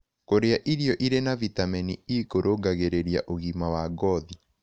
Kũrĩa irio ĩrĩ na vĩtamenĩ e kũrũngagĩrĩrĩa ũgima wa ngothĩ